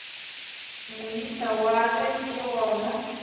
moisa wa ge le gona